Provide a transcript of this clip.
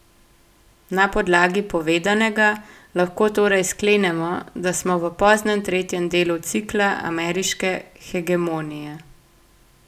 Na podlagi povedanega lahko torej sklenemo, da smo v poznem tretjem delu cikla ameriške hegemonije.